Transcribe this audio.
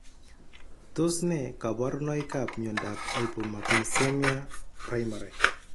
Tos ne kaborunoikap miondop Hypomagnesemia primary?